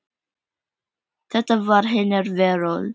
Þetta var hennar veröld.